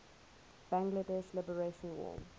bangladesh liberation war